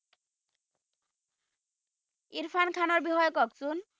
ইৰফান খানৰ বিষয়ে কওকচোন